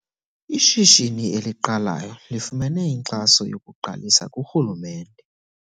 Ishishini eliqalayo lifumene inkxaso yokuqalisa kurhulumente.